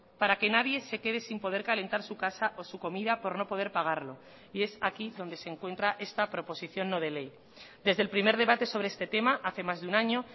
para que nadie se quede sin poder calentar su casa o su comida por no poder pagarlo y es aquí donde se encuentra esta proposición no de ley desde el primer debate sobre este tema hace más de un año